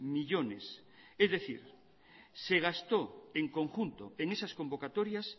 millónes es decir se gastó en conjunto en esas convocatorias